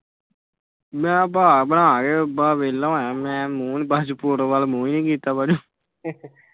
ਮੈਂ ਬਸ ਬਣਾਕੇ ਵੇਲਾ ਹੋਇਆ ਮੈਂ ਬਾਅਦ ਚੋ ਫੋਟੋ ਵੱਲ ਮੂੰਹ ਈ ਨੀ ਕੀਤਾ ਬਾਅਦ ਚੋ।